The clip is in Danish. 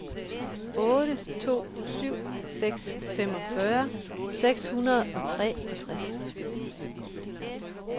otte to syv seks femogfyrre seks hundrede og treogtres